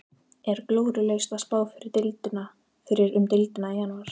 Er glórulaust að spá fyrir um deildina í janúar?